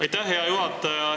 Aitäh, hea juhataja!